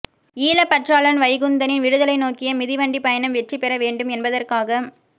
ஈழப்பற்றாளன் வைகுந்தனின் விடுதலை நோக்கிய மிதிவண்டிப் பயணம் வெற்றி பெற வேண்டும் என்பதற்காக